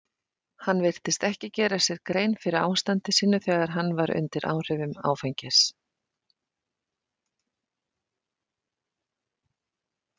Hann virtist ekki gera sér grein fyrir ástandi sínu þegar hann var undir áhrifum áfengis.